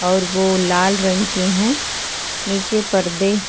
और वो लाल रंग के हैं नीचे परदे --